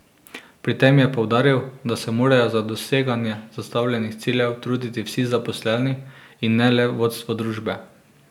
Pri tem je poudaril, da se morajo za doseganje zastavljenih ciljev truditi vsi zaposleni in ne le vodstvo družbe.